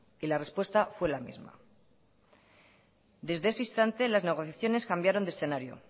y la respuesta fue la misma desde ese instante las negociaciones cambiaron de escenario